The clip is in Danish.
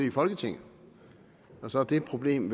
i folketinget og så er det problem